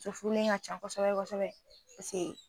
Muso furulen ka ca kosɛbɛ kosɛbɛ paseke